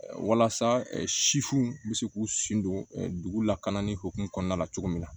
Walasa siw bɛ se k'u sen don dugu lakana ni hukumu kɔnɔna la cogo min na